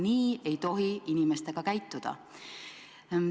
Nii ei tohi inimestega käituda.